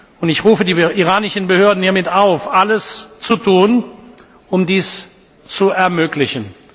Und ich rufe die iranischen Behörden hiermit auf, alles zu tun, um dies zu ermöglichen.